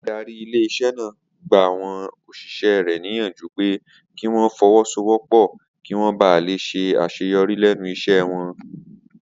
Adarí ilé-isé̩ náà gbàwo̩n òs̩ìs̩é̩ rè̩ níyànjú pé kí wó̩n fo̩wó̩sowó̩pò̩ kí wó̩n ba lè s̩e às̩eyo̩rí lé̩nu is̩é̩ wo̩n